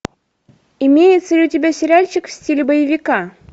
имеется ли у тебя сериальчик в стиле боевика